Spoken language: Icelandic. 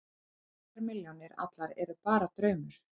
Þessar milljónir allar eru bara draumur.